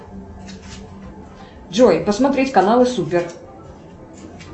джой посмотреть каналы супер